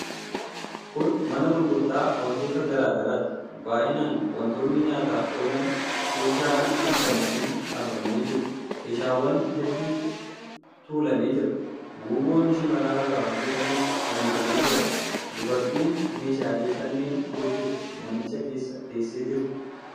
Kun mana gurgurtaa wantoota garaa garaati. Baay'inaan wantoonni nyaataaf oolan keeshaa adiitti naqamanii dhaabamanii jiru. Keeshaawwan hedduutu tuulamee jira. Guuboon shimala irraa hojjetames fannifamee jira. Dubartiin meeshaalee kanneen gurgurtu manicha keessa teessee jirti.